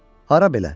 Hara belə?